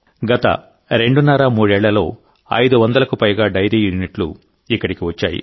గత రెండున్నర మూడేళ్లలో ఐదు వందలకు పైగా డైరీ యూనిట్లు ఇక్కడికి వచ్చాయి